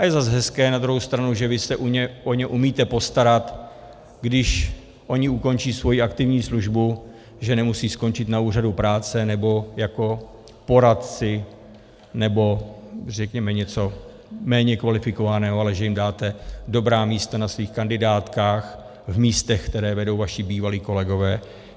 A je zase hezké na druhou stranu, že vy se o ně umíte postarat, když oni ukončí svoji aktivní službu, že nemusí skončit na úřadu práce nebo jako poradci nebo řekněme něco méně kvalifikovaného, ale že jim dáte dobrá místa na svých kandidátkách v místech, které vedou vaši bývalí kolegové.